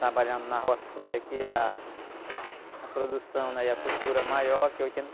Trabalhando na roça, porque aqui a, a produção, né? E a cultura maior que oitenta